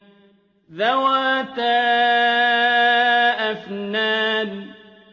ذَوَاتَا أَفْنَانٍ